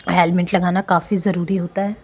Helmet लगाणा काफी जरूरी होता है।